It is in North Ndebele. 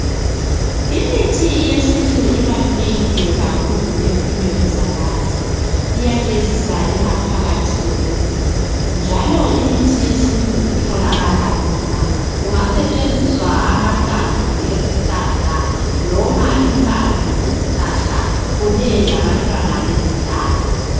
Imithi yesintu ibalulekile kakhulu empilweni zabantu. Iyagezisa ingaphakathi yomuntu njalo imithi yesintu itholakala lula. Kungasetshenziswa amahlamvu ezihlahla, noma impande zezihlahla, kunye labantwana bezihlahla.